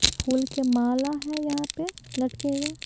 फूल के माला है यहाँ पे लटके हुई।